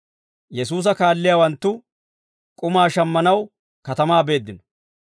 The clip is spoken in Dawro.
Yesuusa kaalliyaawanttu k'umaa shammanaw katamaa beeddino.